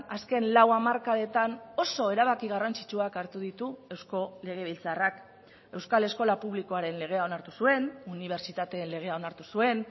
azken lau hamarkadetan oso erabaki garrantzitsuak hartu ditu eusko legebiltzarrak euskal eskola publikoaren legea onartu zuen unibertsitateen legea onartu zuen